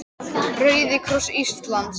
Rauði kross Íslands